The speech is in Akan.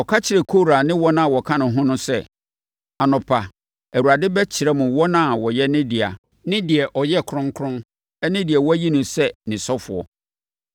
Ɔka kyerɛɛ Kora ne wɔn a wɔka ne ho no sɛ, “Anɔpa, Awurade bɛkyerɛ mo wɔn a wɔyɛ ne dea ne deɛ ɔyɛ kronkron ne deɛ wɔayi no sɛ ne ɔsɔfoɔ.